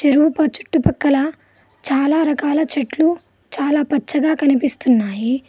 చెరువు చుట్టుపక్కల చాలా రకాల చెట్లు చాలా పచ్చగా కనిపిస్తున్నాయి.